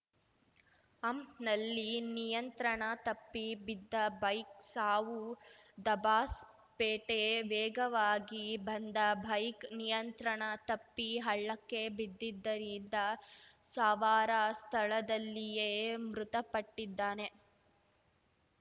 ಹಂಪ್‌ನಲ್ಲಿ ನಿಯಂತ್ರಣ ತಪ್ಪಿ ಬಿದ್ದ ಬೈಕ್‌ ಸಾವು ದಬಾಸ್‌ಪೇಟೆ ವೇಗವಾಗಿ ಬಂದ ಬೈಕ್‌ ನಿಯಂತ್ರಣ ತಪ್ಪಿ ಹಳ್ಳಕ್ಕೆ ಬಿದ್ದಿದ್ದರಿಂದ ಸವಾರ ಸ್ಥಳದಲ್ಲಿಯೇ ಮೃತಪಟ್ಟಿದ್ದಾನೆ